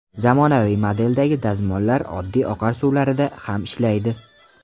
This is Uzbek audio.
Zamonaviy modeldagi dazmollar oddiy oqar suvlarida ham ishlaydi.